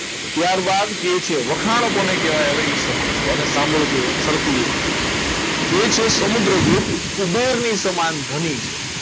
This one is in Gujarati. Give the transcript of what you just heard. ત્યારબાદ એ છે વખાણ કોને કહેવાય એ સમજજો અને સાંભળજો સરખી રીતે કે જે સમુદ્રગુપ્ત કુબેર ની સમાન ધ્વનિ છે.